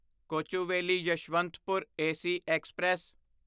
Kochuveli Yeshwantpur AC express